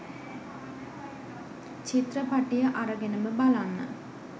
චිත්‍රපටිය අරගෙනම බලන්න